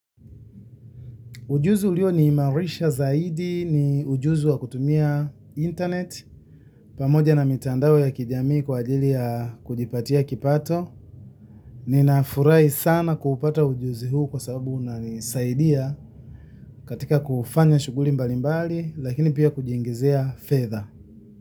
Ujuzi ulioniimarisha zaidi ni ujuzi wa kutumia internet pamoja na mitandao ya kijamii kwa ajili ya kujipatia kipato. Ninafurahi sana kupata ujuzi huu kwa sababu unanisaidia katika kufanya shughuli mbalimbali lakini pia kujiingizia fedha.